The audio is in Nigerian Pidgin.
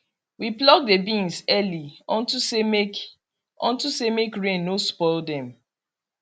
we pluck the beans early unto say make unto say make rain no spoil dem